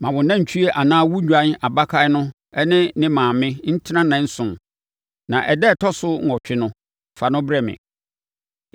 Ma wo nantwie anaa wo dwan abakan no ne ne maame ntena nnanson, na ɛda a ɛtɔ so nwɔtwe no, fa no brɛ me.